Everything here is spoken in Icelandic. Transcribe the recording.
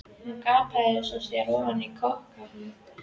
Hún gapir svo að sér ofan í kok á henni.